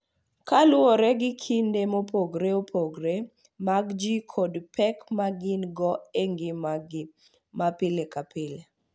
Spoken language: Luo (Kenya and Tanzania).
Kaluwore gi kido mopogore opogore mag ji kod pek ma gin-go e ngimagi ma pile ka pile.